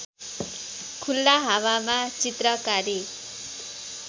खुल्ला हावामा चित्रकारी